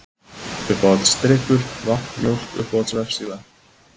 Uppáhaldsdrykkur: Vatn, Mjólk Uppáhalds vefsíða?